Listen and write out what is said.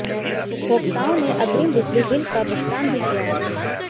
उपभोक्ताओं ने अग्रिम बिजली बिल का भुगतान भी किया है